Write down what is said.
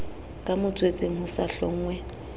ka motswetseng ho sa hlonngwe